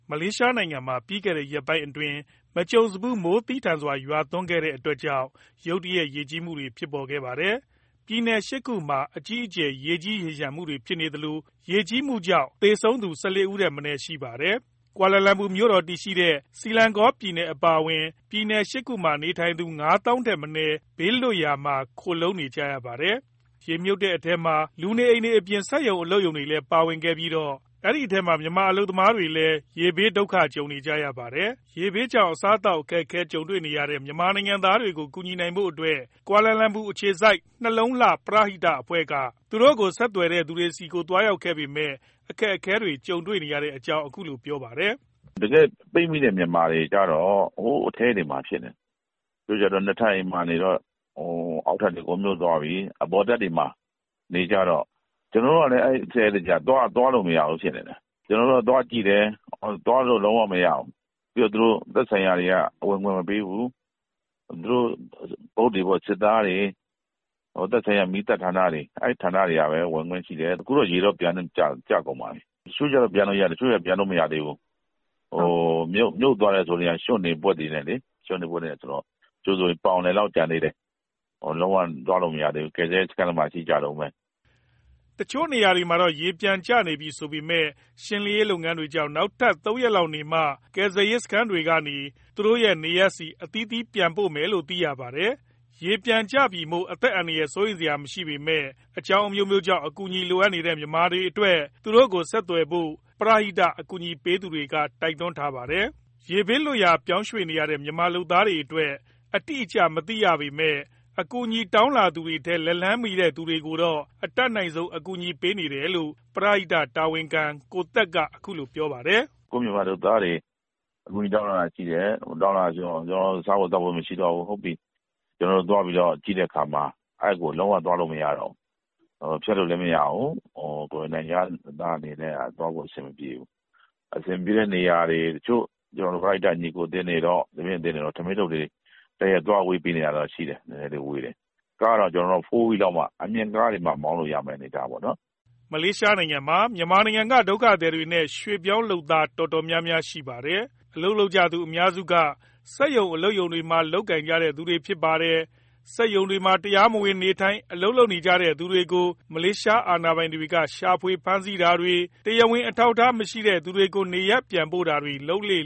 မလေးရှားနိုင်ငံမှာ ပြီးခဲ့တဲ့ရက်ပိုင်းအတွင်း မကြုံစဖူး မိုးသည်းထန်စွာရွာသွန်းခဲ့ရက ရုတ်တရက်ရေကြီးမှုတွေဖြစ်ခဲ့ပါတယ်။ ပြည်နယ် ၈ ခုမှာ အကြီးအကျယ် ရေကြီးရေလျှံမှုတွေကြုံနေသလို ရေကြီးမှုကြောင့် သေဆုံးသူ ၁၄ ယောက်ထက် မနည်းရှိနေပါတယ်။ Kula Lumpur မြို့တော်တည်ရှိတဲ့ Selangor ပြည်နယ်အပါအဝင် ပြည်နယ် ၈ ခုမှာ နေထိုင်သူ ၅ သောင်းထက်မနည်း ဘေးလွတ်ရာမှာ ခိုလှုံနေကြရပါတယ်။ ရေမြုပ်တဲ့အထဲမှာ လူနေအိမ်တွေအပြင် စက်ရုံအလုပ်ရုံတွေလည်း ပါဝင်ခဲ့ပြီးတော့ ဒီထဲမှာ မြန်မာလုပ်သားတွေလည်း ရေဘေးဒုက္ခကြုံနေကြရပါတယ်။ ရေဘေးကြောင့် အစားအသောက် အခက်အခဲဖြစ်နေတဲ့ မြန်မာနိုင်ငံသားတွေကို ကူညီနိုင်ဖို့အတွက် ကွာလာလမ်ပူအခြေစိုက် နှလုံးလှပရဟိတအဖွဲ့က ဆက်သွယ်သူတွေဆီ သွားရောက်ခဲ့ပေမယ့် အခက်ကြုံတွေ့ရတဲ့အကြောင်း ပြောပါတယ်။ "တကယ့်ပိတ်မိတဲ့ မြန်မာတွေကျတော့ ဟိုးအထဲတွေမှာ ဖြစ်နေတယ်။ တချို့ကျတော့ နှစ်ထပ်အိမ်မှာနေတော့ အောက်ထပ်မှာ အကုန်မြုပ်သွားပြီ၊ အပေါ်ထပ်မှာ နေကြတယ်။ ကျနော်တို့က အဲ့အထဲကျတော့ သွားလို့မရဘူး ဖြစ်နေတယ်။ ကျနော်တို့ သွားကြည့်တယ်၊ သွားလို့လုံးဝမရဘူး။ ပြီးတော့ သူတို့သက်ဆိုင်ရာတွေက ဝင်ခွင့်မပေးဘူး။ စစ်သားတွေ၊ သက်ဆိုင်ရာ မီးသတ်ဌာနတွေကပဲ ဝင်ခွင့်ရှိတယ်။ အခုတော့ ရေတော့ပြန်ကျကုန်ပါပြီ။ တချို့ကျတော့ ပြန်လို့ရတယ်၊ တချို့ကျတော့ ပြန်လို့မရသေးဘူး။ မြုပ်သွားတယ်ဆိုကလည်းက ရွှံ့တွေ၊ ဗွက်တွေနဲ့ဆိုတော့ တချို့ဆို ပေါင်အလယ်လောက် ကျန်သေးတယ်။ လုံးဝသွားလို့ မရသေးဘူး၊ ကယ်ဆယ်ရေးစခန်းတွေမှာ ရှိကြတုန်းပဲ။" နေရာတချို့မှာတော့ ရေပြန်ကျနေပြီဆိုပေမယ့် ရှင်းလင်းရေးလုပ်ငန်းတွေကြောင့် နောက် ၃ ရက်လောက်နေမှ ကယ်ဆယ်ရေးစခန်းတွေကနေ သူတို့ရဲ့နေရပ်ဆီ အသီးသီးပြန်ပို့မယ်လို့ သိရပါတယ်။ ရေပြန်ကျနေပြီမို့ အသက်အန္တရာယ် စိုးရိမ်စရာ မရှိပေမဲ့၊ အကြောင်းအမျိုးမျိုးကြောင့် အကူအညီလိုနေတဲ့ မြန်မာတွေအနေနဲ့ သူတို့ကို ဆက်သွယ်ဖို့ ပရဟိတကူညီပေးနေသူတွေက တိုက်တွန်းထားပါတယ်။ ရေဘေးလွတ်ရာ ပြောင်းရွှေ့နေရတဲ့ မြန်မာလုပ်သားအရေအတွက် အတိအကျမသိရပေမယ့် အကူအညီတောင်းလာသူတွေထဲ လက်လှမ်းမီသူတွေကိုတော့ အတတ်နိုင်ဆုံး ကူညီပေးနေတယ်လို့ ပရဟိတတာဝန်ခံ ကိုသက်က ပြောပါတယ်။ "ကိုယ့်မြန်မာလုပ်သားတွေ အကူအညီတောင်းလာတာ ရှိတယ်။ တချို့ဆို စားဖို့သောက်ဖို့မရှိတော့ဘူး ဆိုလို့ ကျနော်တို့သွားပြီးတော့ ကြည့်တဲ့အခါမှာ အဲဒီကို လုံးဝသွားလို့မရတော့ဘူး။ ဖြတ်လို့လည်း မရဘူး။ ကိုယ်တွေ နိုင်ငံခြားသား အနေနဲ့က သွားဖို့အဆင်မပြေဘူး။ တချို့ ကျနော်တို့ ပရဟိတညီအကိုအသင်းတွေတော့ ထမင်းထုတ်တွေ သွားဝေပေးနေတာတော့ ရှိတယ်။ ကားတွေတောင်မှ 4 Wheels မှ အမြင့်ကားတွေမှ မောင်းလို့ရတဲ့အနေအထားတွေပေါ့။" မလေးရှားနိုင်ငံမှာ မြန်မာနိုင်ငံက ဒုက္ခသည်တွေနဲ့ ရွှေ့ပြောင်းလုပ်သား တော်တော်များများရှိပါတယ်။ အလုပ်လုပ်ကြသူ အများစုက စက်ရုံအလုပ်ရုံတွေမှာ လုပ်ကိုင်သူတွေ ဖြစ်ပါတယ်။ စက်ရုံတွေမှာ တရားမဝင်နေထိုင်၊ အလုပ်လုပ်ကိုင်သူတွေကို မလေးအာဏာပိုင်တွေက ရှာဖွေဖမ်းဆီးတာတွေ၊ တရားဝင်အထောက်အထားမရှိသူတွေကို နေရပ်ပြန်ပို့တာတွေ လုပ်လေ့